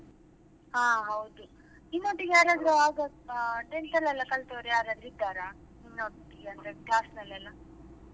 ಹಾ ಹೌದು ನಿಮ್ಮ್ ಒಟ್ಟಿಗೆ ಯಾರಾದ್ರೂ ಆಗದ್ದು tenth ಅಲ್ಲಿ ಎಲ್ಲ ಕಲ್ತವರು ಯಾರಾದ್ರು ಇದ್ದಾರಾ ನಿಮ್ಮ ಒಟ್ಟಿಗೆ ಅಂದ್ರೆ class ನಲ್ಲಿ ಎಲ್ಲಾ?